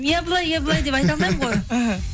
иә былай иә былай деп айта алмаймын ғой іхі